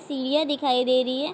सीढियाँ दिखाई दे रही है।